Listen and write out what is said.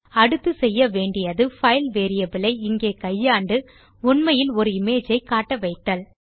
அடுத்து செய்ய வேண்டியது பைல் வேரியபிள் ஐ இங்கே கையாண்டு உண்மையில் ஒரு இமேஜ் ஐ காட்ட வைத்தல்